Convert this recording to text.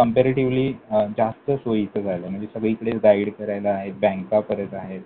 Comparatively जास्त सोयीचं झालंय. म्हणजे सगळीकडेच guide आहेत, बँका परत आहेत.